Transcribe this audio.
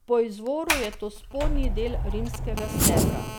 Po izvoru je to spodnji del rimskega stebra.